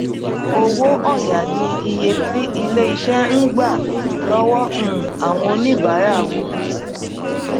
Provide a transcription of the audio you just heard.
owó òya ni iye tí ilé iṣẹ ń gbà lọwọ um àwọn oníbàárà wọn